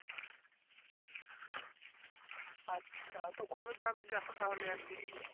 আচ্ছা তো কবে যাবে দ্যাখো একদিন